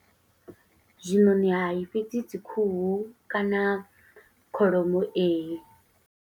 Zwiṋoṋi hai, fhedzi dzi khuhu kana kholomo, ee.